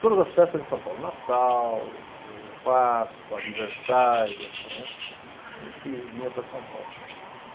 Todas as festas em São Paulo, Natal, eh Páscoa, aniversários, né, a gente vinha para São Paulo.